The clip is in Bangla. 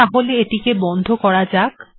তাহলে এটিকে বন্ধ করা যাক